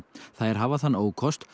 þær hafa þann ókost